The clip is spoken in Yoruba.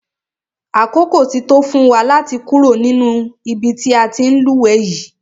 Àkókò ti tó fún wa láti kúrò nínú ibi tí a ti ń lúwẹ̀ẹ́ yìí.